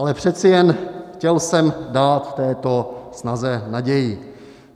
Ale přeci jen chtěl jsem dát této snaze naději.